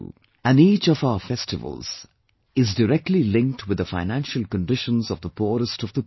And each of our festivals are directly linked with the financial conditions of the poorest of the poor